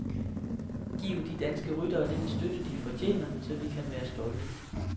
Giv de danske ryttere den støtte de fortjener, så vi kan være stolte.